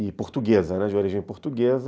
E portuguesa, né, de origem portuguesa.